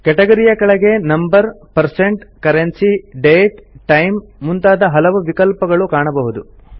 category ಯ ಕೆಳಗೆ number percent currency date time ಮುಂತಾದ ಹಲವು ವಿಕಲ್ಪಗಳು ಕಾಣಬಹುದು